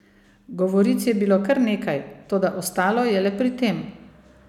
Govoric je bilo kar nekaj, toda ostalo je le pri tem.